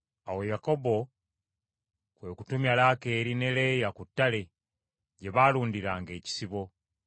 Awo Yakobo kwe kutumya Laakeeri ne Leeya ku ttale gye baalundiranga ekisibo.